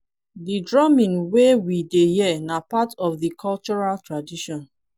di drumming wey we dey hear na part of cultural tradition